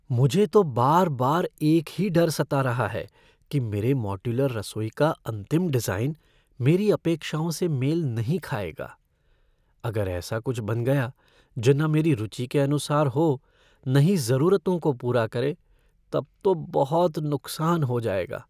मुझे तो बार बार एक ही डर सता रहा है कि मेरे मॉड्यूलर रसोई का अंतिम डिज़ाइन मेरी अपेक्षाओं से मेल नहीं खाएगा। अगर ऐसा कुछ बन गया जो न मेरी रुचि के अनुसार हो न ही ज़रूरतों को पूरा करे, तब तो बहुत नुक्सान हो जाएगा।